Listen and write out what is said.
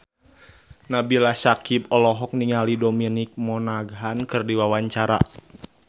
Nabila Syakieb olohok ningali Dominic Monaghan keur diwawancara